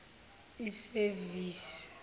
isevisi